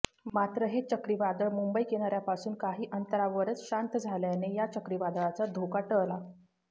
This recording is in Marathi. मात्र हे चक्रीवादळ मुंबई किनाऱ्यापासून काही अंतरावरच शांत झाल्याने या चक्रीवादळाचा धोका टळला